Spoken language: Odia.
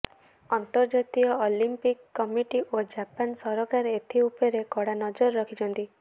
ଅନ୍ତର୍ଜାତୀୟ ଅଲିମ୍ପିକ କମିଟି ଓ ଜାପାନ ସରକାର ଏଥି ଉପରେ କଡା ନଜର ରଖିଛନ୍ତି